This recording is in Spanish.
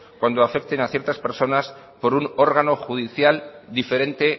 cuando afecten a ciertas personas por un órgano judicial diferente